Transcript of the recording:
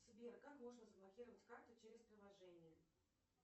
сбер как можно заблокировать карту через приложение